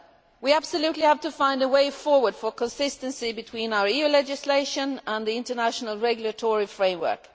We absolutely have to find a way forward for consistency between our EU legislation and the international regulatory framework.